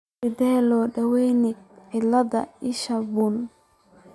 Sidee loo daweyaa cillada isha bunni?